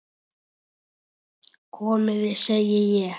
Komiði, segi ég!